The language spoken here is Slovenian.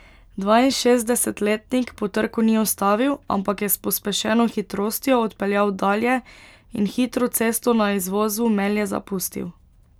Dvainšestdesetletnik po trku ni ustavil, ampak je s pospešeno hitrostjo odpeljal dalje in hitro cesto na izvozu Melje zapustil.